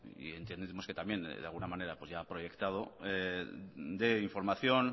y entendemos también que de alguna pues ya ha proyectado de información